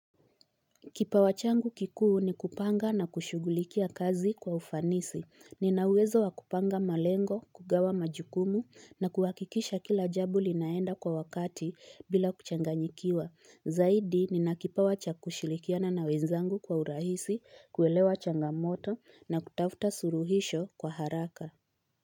Kipawa changu kikuu ni kupanga na kushughulikia kazi kwa ufanisi. Nina uwezo wa kupanga malengo, kugawa majukumu na kuhakikisha kila jambo linaenda kwa wakati bila kuchanganyikiwa. Zaidi, nina kipawa cha kushirikiana na wenzangu kwa urahisi, kuelewa changamoto na kutafuta suluhisho kwa haraka.